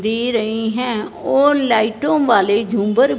दे रही हैं और लाइटों वाले झूमर--